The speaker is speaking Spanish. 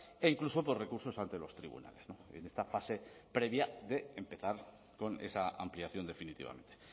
e incluso por recursos ante los tribunales en esta fase previa de empezar con esa ampliación definitivamente